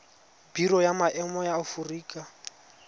biro ya maemo ya aforika